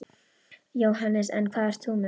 Jóhannes: En hvað ert þú með?